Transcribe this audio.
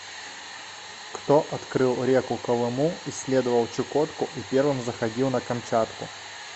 кто открыл реку колыму исследовал чукотку и первым заходил на камчатку